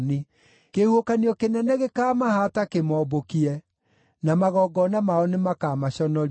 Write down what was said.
Kĩhuhũkanio kĩnene gĩkaamahaata kĩmombũkie, na magongona mao nĩmakamaconorithia.